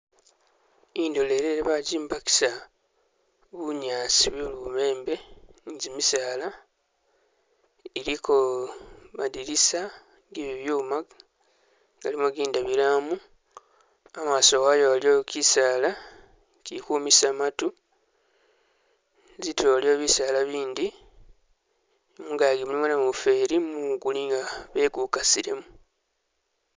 Indolelele bajimbakisa bunyaasi bwe lubembe ni jimisaala iliko madinisa gebibyuma galimo zindabilwamu emaso wayo waliyo kisaala kikwomesa matu zitulo waliyo bisala bindi mungaji mulimo namufeli gumumu gulinga bele gukasilemo